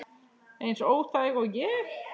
Eins óþæg og ég?